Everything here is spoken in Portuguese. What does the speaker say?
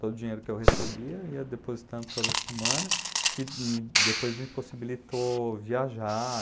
Todo o dinheiro que eu recebia eu ia depositando toda semana, que me depois me possibilitou viajar.